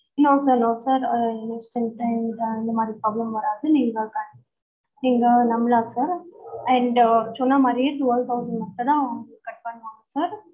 no sir no sir ah merge பண்ணிட்டேன் இந்த மாதிரி problem வராது நீங்க நம்பலாம் sirand சொன்ன மாறியே twelve thousand மட்டும் தான் cut பண்ணுவாங்க sir